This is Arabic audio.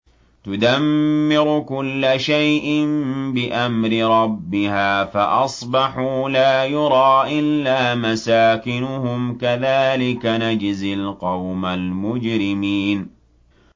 تُدَمِّرُ كُلَّ شَيْءٍ بِأَمْرِ رَبِّهَا فَأَصْبَحُوا لَا يُرَىٰ إِلَّا مَسَاكِنُهُمْ ۚ كَذَٰلِكَ نَجْزِي الْقَوْمَ الْمُجْرِمِينَ